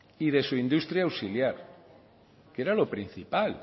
y de su industria auxiliar que era lo principal